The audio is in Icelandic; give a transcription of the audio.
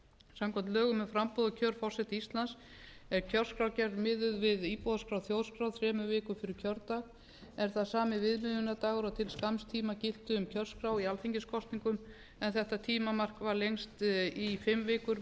samkvæmt lögum um framboð og kjör forseta íslands er kjörskrárgerð miðuð við íbúaskrá þjóðskrár þremur vikum fyrir kjördag er það sami viðmiðunardagur og til skamms tíma gilti um kjörskrá í alþingiskosningum en þetta tímamark var lengst í fimm vikur